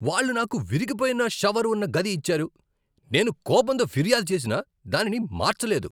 వాళ్ళు నాకు విరిగిపోయిన షవర్ ఉన్న గది ఇచ్చారు, నేను కోపంతో ఫిర్యాదు చేసినా దానిని మార్చలేదు.